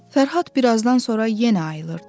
Fərhad birazdan sonra yenə ayılırdı.